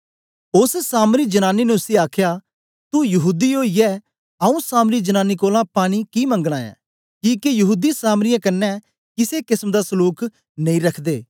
ओस सामरी जनानी ने उसी आखया तू यहूदी ओईयै आऊँ सामरी जनांनी कोलां पानी कि मंगना ऐ किके यहूदी सामरियें कन्ने किसे किसम दा सलूक नेई रखदे